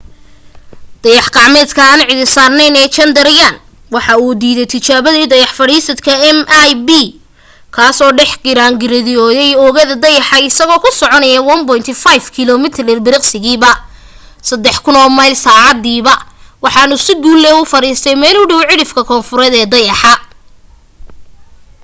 dayax gacmeedka aan cidi saarnayn ee chandrayaan waa uu diidaytijaabadii dayax fadhiisadka mip kaasoo dhex giraarngirooday oogada dayaxa isagoo ku soconaya 1.5 kilomitir ilbiriqsigiiba 3000 mile saacadiiba waxaanu si guul leh u fariistay meel u dhow cidhifka koonfureed ee dayaxa